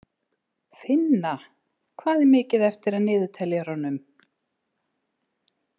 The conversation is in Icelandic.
Finna, hvað er mikið eftir af niðurteljaranum?